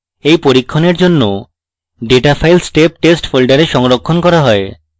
এই পরীক্ষণের জন্য data file step test folder সংরক্ষণ করা হয়